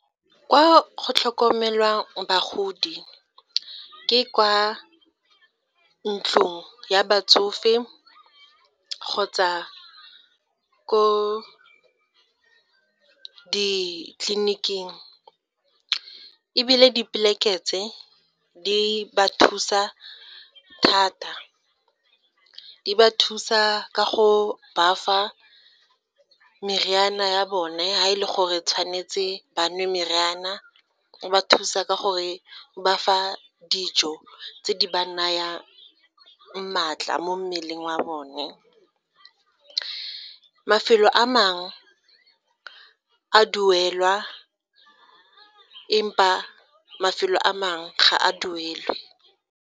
Kwa go tlhokomelwang bagodi ke kwa ntlong ya batsofe kgotsa ko ditleliniking, ebile tse, di ba thusa thata, di ba thusa ka go ba fa meriana ya bone fa e le gore tshwanetse ba nwe meriana, o ba thusa ka gore ba fa dijo tse di ba nayang maatla mo mmeleng wa bone. Mafelo a mangwe a duelwa empa mafelo a mangwe ga a duelwe.